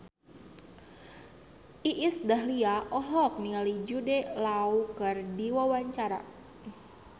Iis Dahlia olohok ningali Jude Law keur diwawancara